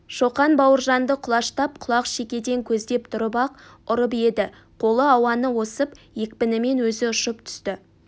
шоқан бауыржанды құлаштап құлақ шекеден көздеп тұрып-ақ ұрып еді қолы ауаны осып екпінімен өзі ұшып түсті